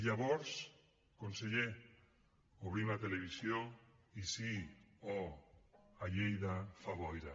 llavors conseller obrim la televisió i sí oh a lleida fa boira